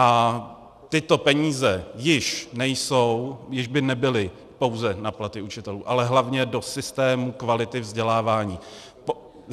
A tyto peníze již nejsou, již by nebyly pouze na platy učitelů, ale hlavně do systému kvality vzdělávání.